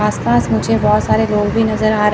आस पास मुझे बहुत सारे लोग भी नजर आ रहे--